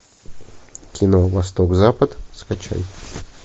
кино восток запад скачай